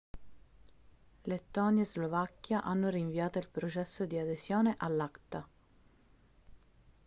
lettonia e slovacchia hanno rinviato il processo di adesione all'acta